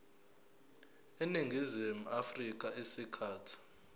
eningizimu afrika isikhathi